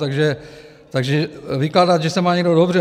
Takže vykládat, že se má někdo dobře...